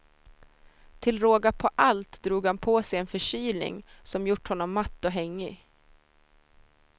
Till råga på allt drog han på sig en förkylning, som gjort honom matt och hängig.